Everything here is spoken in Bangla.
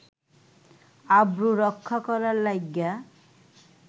আব্রু রক্ষা করার লাইগ্যা